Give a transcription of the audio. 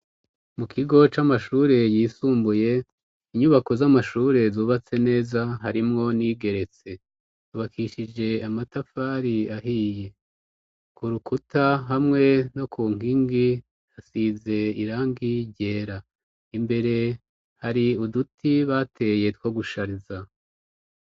Mu kigo c'amashure yisumbuye inyubako z'amashure zubatse neza harimwo n'iyigeretse yubakishije amatafari ahiye ku rukuta hamwe no ku nkingi hasize irangi ryera imbere hari uduti bateye two gushariza.